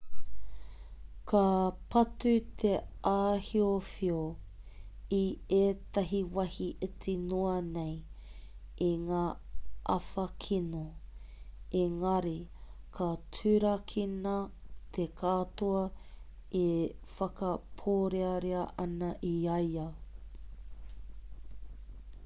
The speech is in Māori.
ka patu te āhiowhio i tētahi wāhi iti noa nei i ngā āwha kino engari ka turakina te katoa e whakapōrearea ana i a ia